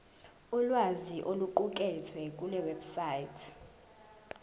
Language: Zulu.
ulwazi oluqukethwe kulewebsite